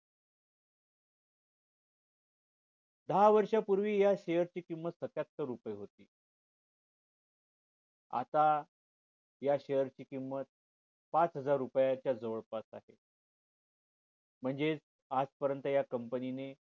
दहा वर्ष पूर्वी या share ची किंमत सत्यातर रुपये होती आता या share ची किंमत पाच हजार रुपये च जवळपास आहे म्हणजे आजपर्यंत या company